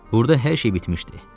Burda hər şey bitmişdi.